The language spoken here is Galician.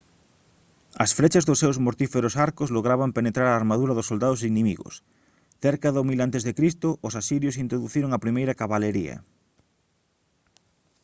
as frechas dos seus mortíferos arcos lograban penetrar a armadura dos soldados inimigos cerca do 1000 a c os asirios introduciron a primeira cabalería